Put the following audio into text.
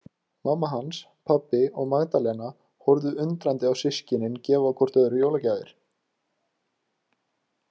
Mamma hans, pabbi og Magdalena horfðu undrandi á systkinin gefa hvort öðru jólagjafir.